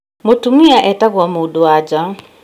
Mũtumia etagwo mũndũ wa nja